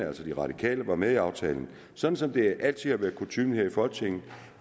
altså de radikale var med i aftalen sådan som det altid har været kutyme her i folketinget